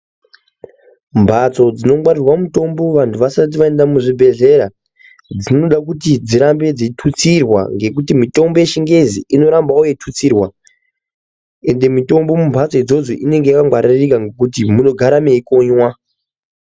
Mbatso dzinongwarirwa mutombo vantu vasati vaenda muzvibhehleya dzinoda kuti dzirambe dzeitutsirwa ngekuti mitombo yechingezi inorambawo yeitutsirwa ende mitombo mumhatso idzodzo inenge yakangwaririka ngekuti inogara yeikonywa.